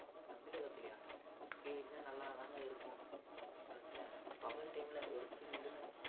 அதுவும் தமிழகத்துலயா அப்படி பெய்தா நல்லாதாங்க இருக்கும் இந்த வெயில் காலத்துல அதுவு பகல் time ல ஒரு சில்லுன்னு